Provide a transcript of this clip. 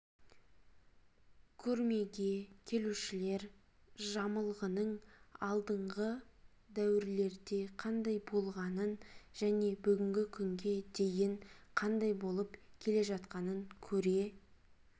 көрмеге келушілер жамылғының алдынғы дәуірлерде қандай болғанын және бүгінгі күнге дейін қандай болып келе жатқанын көре